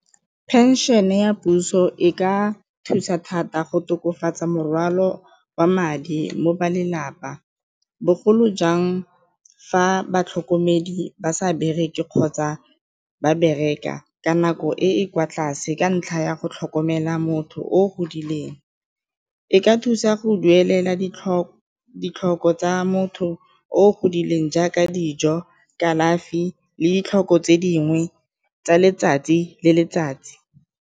Phenšene ya puso e ka thusa thata go tokofatsa morwalo wa madi mo ba lelapa bogolo jang fa batlhokomedi ba sa bereke kgotsa ba bereka ka nako e e kwa tlase ka ntlha ya go tlhokomela motho o godileng, e ka thusa go duelela ditlhoko tsa motho o godileng jaaka dijo, kalafi le ditlhoko tse dingwe tsa letsatsi le letsatsi.